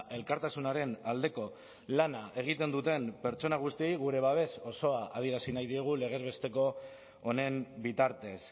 elkartasunaren aldeko lana egiten duten pertsona guztiei gure babes osoa adierazi nahi diegu legez besteko honen bitartez